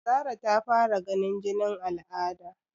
Zara ta fara ganin jinin al'ada?